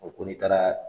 O ko n'i taara